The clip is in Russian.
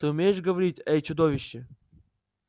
ты умеешь говорить эй чудовище